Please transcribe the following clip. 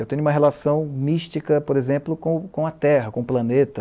Eu tenho uma relação mística, por exemplo, com, com a Terra, com o planeta.